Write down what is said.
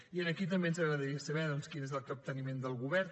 i aquí també ens agradaria saber quin és el capteniment del govern